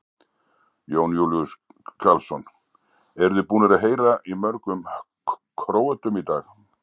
Jón Júlíus Karlsson: Eruð þið búnir að heyra í mörgum Króötum í dag?